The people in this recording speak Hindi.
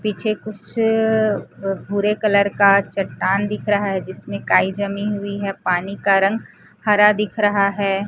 पीछे कुछ भूरे कलर का चट्टान दिख रहा है जिसमें काई जमी हुई है पानी का रंग हरा दिख रहा है।